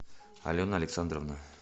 алена александровна